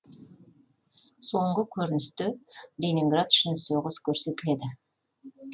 соңғы көріністі ленинград үшін соғыс көрсетіледі